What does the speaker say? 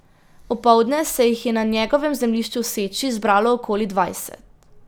Opoldne se jih je na njegovem zemljišču v Seči zbralo okoli dvajset.